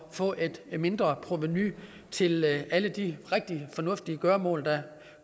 få et mindre provenu til alle de rigtige og fornuftige gøremål der